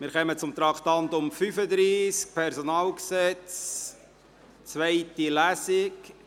Wir kommen zum Traktandum 35, Personalgesetz (PG), zweite Lesung.